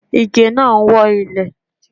Ige náà ń wọ́ ilẹ̀.